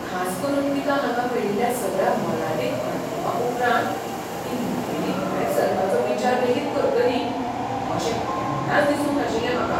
खास करून तिका हांगा मेळिल्ल्या सगळ्या मोलादीक अणभवां उपरांत, ती मुखेली भायर सरपाचो विचार लेगीत करतली अशें केन्नाच दिसूंक नाशिल्लें म्हाका.